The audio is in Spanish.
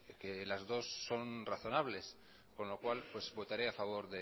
que las dos son razonables con lo cual pues votaré a favor